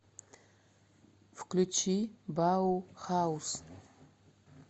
включи баухауз